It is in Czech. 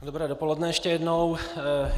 Dobré dopoledne ještě jednou.